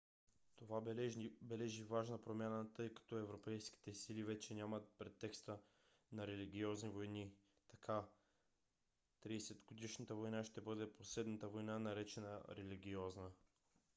това бележи важна промяна тъй като европейските сили вече нямат претекста на религиозни войни. така тридесетгодишната война ще бъде последната война наречена религиозна